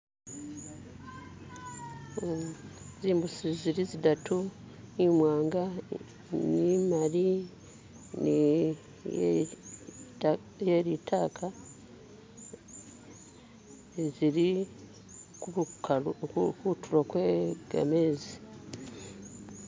Hm zimbusi zili zidatu, imwanga ne imaali ni iye litaka eh zili kubukalu kutulo gwe gamezi.